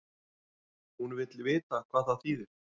Hún vill vita hvað það þýðir.